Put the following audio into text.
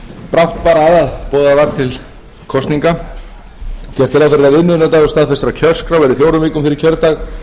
brátt bar að að boðað var til kosninga gert er ráð fyrir að viðmiðunardagur staðfestrar kjörskrár verði fjórar vikur fyrir kjördag